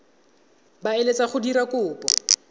ba eletsang go dira kopo